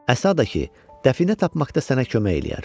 Əsa da ki, dəfinə tapmaqda sənə kömək eləyər.